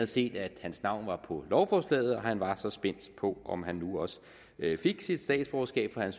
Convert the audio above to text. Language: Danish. set at hans navn var på lovforslaget og han var så spændt på om han nu også fik sit statsborgerskab for han